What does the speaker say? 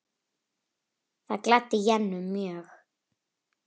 Það gladdi Jennu mjög.